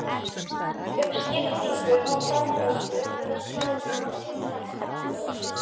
um skiptingu á framleiðslu eða sölu á tilteknum markaði.